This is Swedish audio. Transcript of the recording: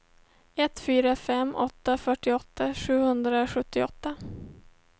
ett fyra fem åtta fyrtioåtta sjuhundrasjuttioåtta